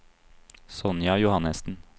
Sonja Johannesen